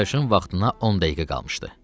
Partlayışın vaxtına 10 dəqiqə qalmışdı.